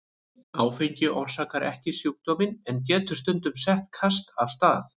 Áfengi orsakar ekki sjúkdóminn en getur stundum sett kast af stað.